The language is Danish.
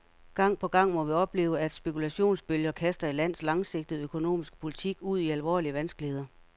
Gang på gang må vi opleve, at spekulationsbølger kaster et lands langsigtede økonomiske politik ud i alvorlige vanskeligheder.